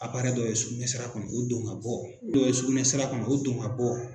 dɔ ye sugunɛsira kɔnɔ o don ŋa bɔ dɔ ye sugunɛsira kɔnɔ o don ka bɔ